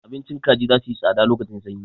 Abincin kaji za suyi tsada lokacin sanyi.